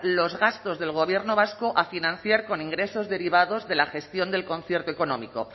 los gastos del gobierno vasco a financiar con ingresos derivados de la gestión del concierto económico